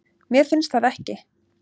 Mér finnst það ekki